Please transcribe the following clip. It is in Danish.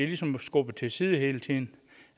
ligesom skubbet til side hele tiden